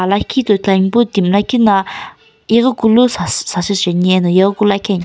lakhi toi thulan pun timi lakhina yeghikilu sa sasu cheni eno yeghikilu lakhian.